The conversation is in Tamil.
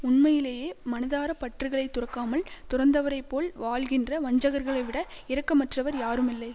உண்மையிலேயே மனதாரப் பற்றுகளை துறக்காமல் துறந்தவரைப் போல் வாழ்கின்ற வஞ்சகர்களைவிட இரக்கமற்றவர் யாருமில்லை